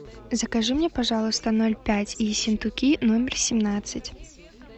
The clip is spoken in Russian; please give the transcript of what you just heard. закажи мне пожалуйста ноль пять ессентуки номер семнадцать